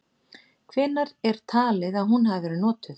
Hvenær er talið að hún hafi verið notuð?.